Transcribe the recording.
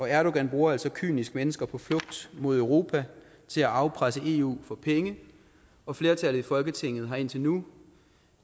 erdogan bruger altså kynisk mennesker på flugt mod europa til at afpresse eu for penge og flertallet i folketinget har indtil nu